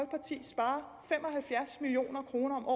halvfjerds million kroner om